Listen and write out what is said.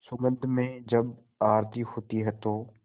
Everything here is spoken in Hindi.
सुगंध में जब आरती होती है तो